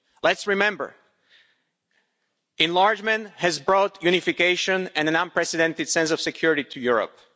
Let's remember, enlargement has brought unification and an unprecedented sense of security to Europe.